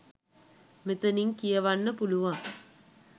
මෙතනින් කියවන්න පුළුවන්.